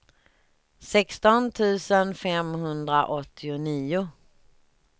sexton tusen femhundraåttionio